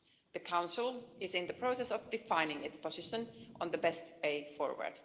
The Council is in the process of defining its position on the best way forward.